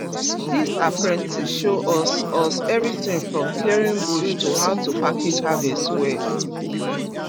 this apprentice show us us everything from clearing bush to how to package harvest well